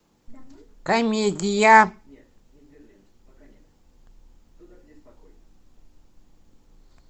комедия